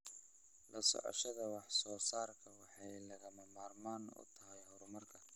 La socoshada wax soo saarku waxay lagama maarmaan u tahay horumarka.